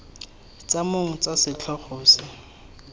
tsa mong tsa setlhogo se